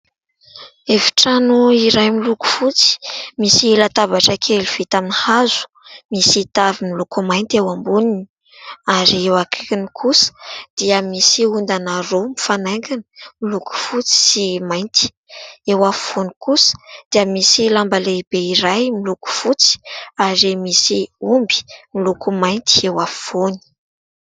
Efitrano iray miloko fotsy. Misy latabatra kely vita amin'ny hazo. Misy tavy miloko mainty eo amboniny ary eo akaikiny kosa dia misy ondana roa mifanaingina miloko fotsy sy mainty. Eo afovoany kosa dia misy lamba lehibe iray miloko fotsy ary misy omby miloko mainty eo afovoany.